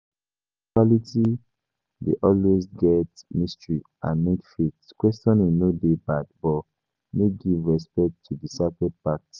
Spirituality dey always get mystery and need faith, questioning no dey bad but make give respect to di sacred parts